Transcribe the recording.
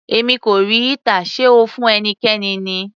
Èmi kò rí heater, sé O fún ẹnikẹ́ni ni?